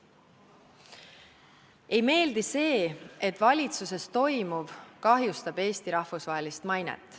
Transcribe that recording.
Ei meeldi see, et valitsuses toimuv kahjustab Eesti rahvusvahelist mainet.